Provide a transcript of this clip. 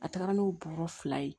A taara n'o bɔrɔ fila ye